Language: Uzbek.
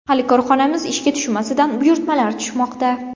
Hali korxonamiz ishga tushmasidan buyurtmalar tushmoqda.